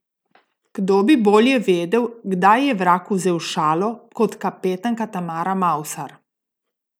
Kdo bi bolje vedel, kdaj je vrag vzel šalo, kot kapetanka Tamara Mavsar?